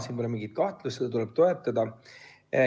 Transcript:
Siin pole mingit kahtlust, seda tuleb toetada.